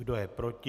Kdo je proti?